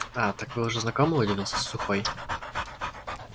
а так вы уже знакомы удивился сухой